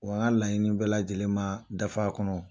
Wa n ka laɲiniini bɛ lajɛlen ma daf'a kɔnɔ